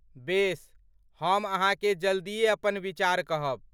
बेस, हम अहाँकेँ जल्दीए अपन विचार कहब।